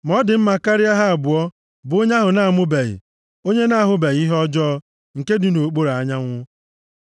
Ma ọ dị mma karịa ha abụọ bụ onye ahụ a na-amụbeghị, onye na-ahụbeghị ihe ọjọọ nke dị nʼokpuru anyanwụ.